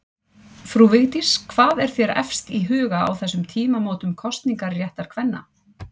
Frú Vigdís, hvað er þér efst í huga á þessum tímamótum kosningaréttar kvenna?